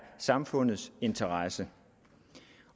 samfundets interesse